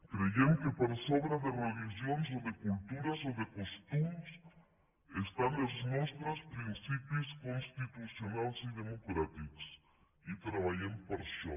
creiem que per sobre de religions o de cultures o de costums estan els nostres principis constitucionals i democràtics i treballem per això